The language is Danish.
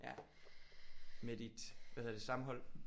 Ja. Med dit hvad hedder det stamhold?